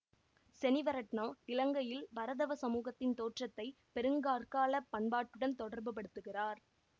செனிவரட்னா இலங்கையில் பரதவ சமூகத்தின் தோற்றத்தை பெருங்கற்காலப் பண்பாட்டுடன் தொடர்பு படுத்துகிறார்